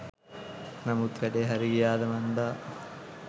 නමුත් වැඩේ හරි ගියාද මන්දා!